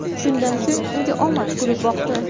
Shundan so‘ng unga omad kulib boqdi.